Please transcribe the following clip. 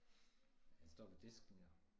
Han står ved disken jo